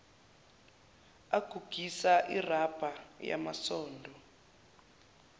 agugisa irabha yamasondo